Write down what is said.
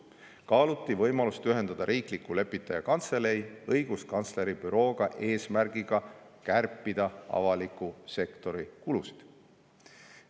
Kaaluti võimalust ühendada riikliku lepitaja kantselei õiguskantsleri bürooga eesmärgiga kärpida avaliku sektori kulusid.